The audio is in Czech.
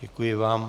Děkuji vám.